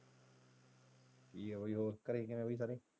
ਵਧੀਆ ਬਾਈ ਹੋਰ ਘਰੇ ਕਿਵੇਂ ਬਈ ਸਾਰੇ?